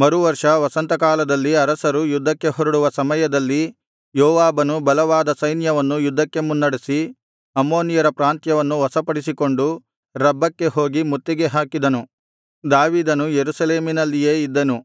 ಮರುವರ್ಷ ವಸಂತ ಕಾಲದಲ್ಲಿ ಅರಸರು ಯುದ್ಧಕ್ಕೆ ಹೊರಡುವ ಸಮಯದಲ್ಲಿ ಯೋವಾಬನು ಬಲವಾದ ಸೈನ್ಯವನ್ನು ಯುದ್ಧಕ್ಕೆ ಮುನ್ನಡೆಸಿ ಅಮ್ಮೋನಿಯರ ಪ್ರಾಂತ್ಯಗಳನ್ನು ವಶಪಡಿಸಿಕೊಂಡು ರಬ್ಬಕ್ಕೆ ಹೋಗಿ ಮುತ್ತಿಗೆ ಹಾಕಿದನು ದಾವೀದನು ಯೆರೂಸಲೇಮಿನಲ್ಲಿಯೇ ಇದ್ದನು